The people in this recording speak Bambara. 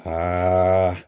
aaa